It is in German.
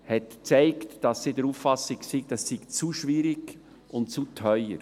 Sie hat gezeigt, dass er der Auffassung ist, das sei zu schwierig und zu teuer.